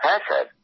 হ্যাঁ স্যার